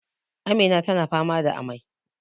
Amina tana fama da amai